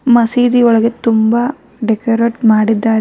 ಮಸೀದಿ ಒಳಗಡೆ ತುಂಬಾ ಡೆಕೋರೇಟ ಮಾಡಿದಾರೆ.